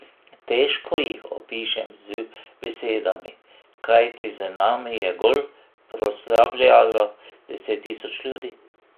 Težko jih opišem z besedami, kajti z nami je gol proslavljalo deset tisoč ljudi.